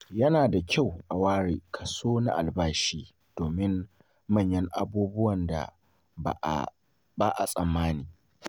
Yana da kyau a ware kaso na albashi domin manyan abubuwan da ba a tsammani.